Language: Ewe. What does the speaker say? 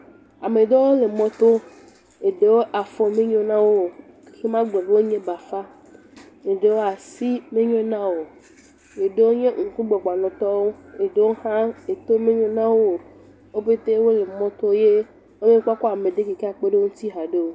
Ame ɖewo le mɔto eɖewo afɔ menyo na wo o magblɔ be bafa, eɖewo asi menyo na wo, eɖewo nye ŋkugbagbanɔtɔ, eɖewo hã eto menyo na wo o eye womekpɔ kpɔ ame si akpe ɖe wo ŋu o.